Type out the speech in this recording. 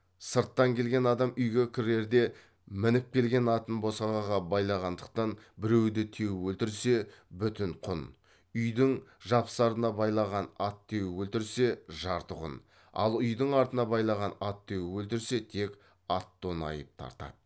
сырттан келген адам үйге кірерде мініп келген атын босағаға байлағандықтан біреуді теуіп өлтірсе бүтін құн үйдің жапсарына байлаған ат теуіп өлтірсе жарты құн ал үйдің артына байлаған ат теуіп өлтірсе тек ат тон айып тартады